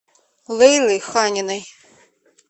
лейлы ханиной